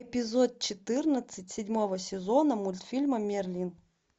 эпизод четырнадцать седьмого сезона мультфильма мерлин